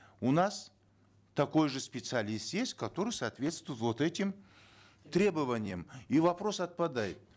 у нас такой же специалист есть который соответствует вот этим требованиям и вопрос отпадает